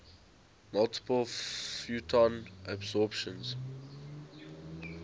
multiple photon absorptions